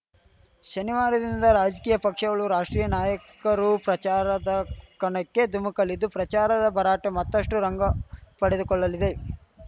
ಶನಿವಾರದಿಂದ ರಾಜಕೀಯ ಪಕ್ಷಗಳು ರಾಷ್ಟ್ರೀಯ ನಾಯಕರು ಪ್ರಚಾರದ ಕಣಕ್ಕೆ ಧುಮಕಲಿದ್ದು ಪ್ರಚಾರದ ಭರಾಟೆ ಮತ್ತಷ್ಟು ರಂಗು ಪಡೆದುಕೊಳ್ಳಲಿದೆ